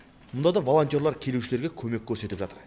мұнда да волонтерлар келушілерге көмек көрсетіп жатыр